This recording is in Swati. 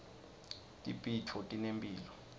tibhidvo tinemphilo